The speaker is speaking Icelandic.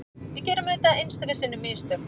Við gerum auðvitað einstöku sinnum mistök